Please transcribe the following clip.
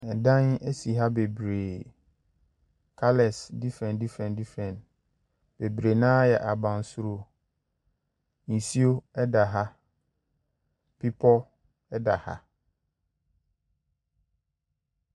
Ɛdan si ha bebree. Colours different different different. Bebree no ara yɛ abansoro. Nsuo da ha. Bepɔ da ha.